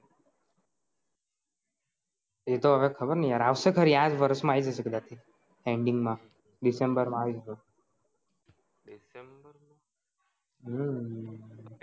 એ તો હવે ખબર નહીં યાર અવસે ખરી આજ વરસ માં આય જસે કદાચ ending માં દિસેમ્બર માં આય જસે